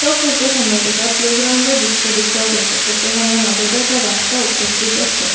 উক্ত ফটো খনত এটা প্লেগ্ৰাউণ্ডৰ দৃশ্য দেখুওৱা গৈছে ফটো খনৰ মাজতে এটা ৰাস্তাও উপস্থিত আছে।